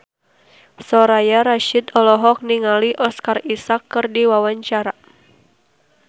Soraya Rasyid olohok ningali Oscar Isaac keur diwawancara